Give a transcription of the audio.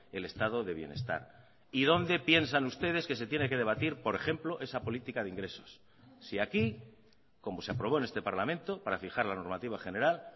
el estado de bienestar y dónde piensan ustedes que se tiene que debatir por ejemplo esa política de ingresos si aquí como se aprobó en este parlamento para fijar la normativa general